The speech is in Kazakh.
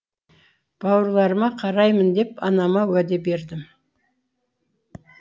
бауырларыма қараймын деп анама уәде бердім